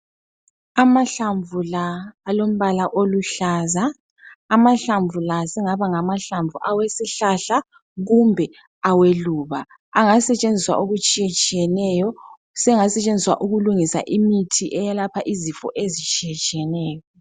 Amahlamvu la alombala oluhlaza. Amahlamvu la asengaba ngawesihlahla kumbe aweluba. Angasetshenziswa okutshiyetshiyeneyo. Sengasetshenziswa ukulungisa imithi eyelapha izifo ezitshiyetshiyeneyo.